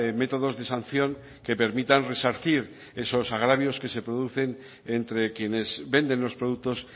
métodos de sanción que permitan resarcir esos agravios que se producen entre quienes venden los productos